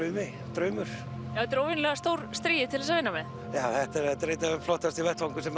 draumur þetta er óvenjulega stór strigi til þess að vinna með þetta er einn flottasti vettvangur sem